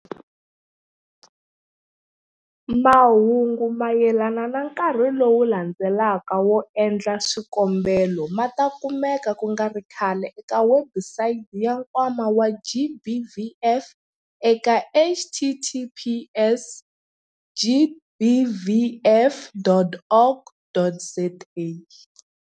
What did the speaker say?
Mahungu mayelana na nkarhi lowu landzelaka wo endla swikombelo ma ta kumeka ku nga ri khale eka webusayiti ya Nkwama wa GBVF eka- https- gbvf.org.za.